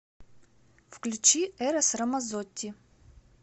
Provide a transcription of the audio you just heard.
включи эрос рамазотти